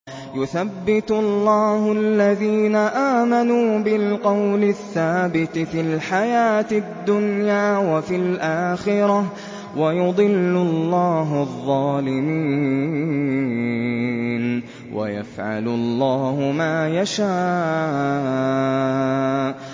يُثَبِّتُ اللَّهُ الَّذِينَ آمَنُوا بِالْقَوْلِ الثَّابِتِ فِي الْحَيَاةِ الدُّنْيَا وَفِي الْآخِرَةِ ۖ وَيُضِلُّ اللَّهُ الظَّالِمِينَ ۚ وَيَفْعَلُ اللَّهُ مَا يَشَاءُ